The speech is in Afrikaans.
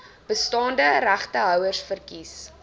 bestaande regtehouers verkies